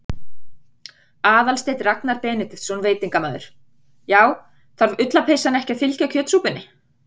Aðalsteinn Ragnar Benediktsson, veitingamaður: Já, þarf ullarpeysan ekki að fylgja kjötsúpunni?